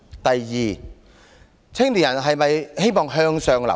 第二，青年人是否希望向上流動？